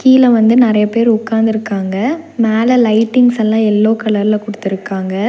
கீழ வந்து நெறைய பேர் உக்காந்துருக்காங்க மேல லைட்டிங்ஸ் எல்லா எல்லோ கலர்ல குடுத்துருக்காங்க.